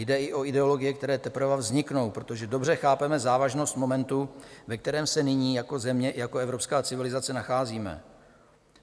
Jde i o ideologie, které teprve vzniknou, protože dobře chápeme závažnost momentu, ve kterém se nyní jako země i jako evropské civilizace nacházíme.